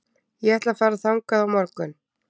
Ég ætla að fara þangað á morgun.